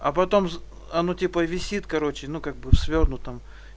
а потом а ну типа висит короче ну как бы в свёрнутом